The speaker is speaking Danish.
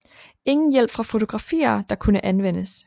Ingen hjælp fra fotografier der kunne anvendes